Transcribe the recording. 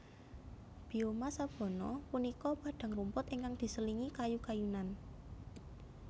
Bioma sabana punika padang rumput ingkang diselingi kayu kayunan